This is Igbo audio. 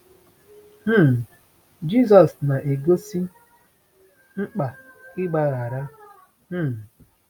um Jisọs na-egosi mkpa ịgbaghara. um